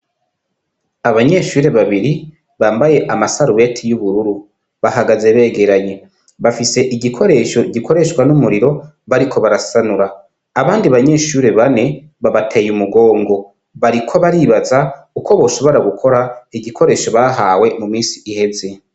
Abanyeshure babiri bambaye amasaruweti y'ubururu bahagaze begeranye bafise igikoresho gikoreshwa n'umuriro bariko barasanura abandi banyeshure bane babateye umugongo bariko baribaza uko boshobora gukora igikoresho bahawe mu misi iheze.